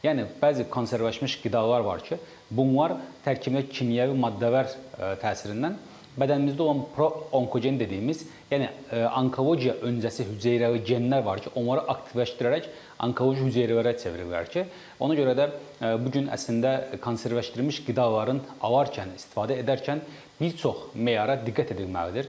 Yəni bəzi konservləşdirilmiş qidalar var ki, bunlar tərkibində kimyəvi maddələr təsirindən bədənimizdə olan proonkogen dediyimiz, yəni onkologiya öncəsi hüceyrə genlər var ki, onları aktivləşdirərək onkoloji hüceyrələrə çevirirlər ki, ona görə də bu gün əslində konservləşdirilmiş qidaların alarkən, istifadə edərkən bir çox meyara diqqət edilməlidir.